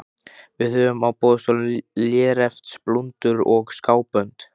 Við höfum á boðstólum léreftsblúndur og skábönd.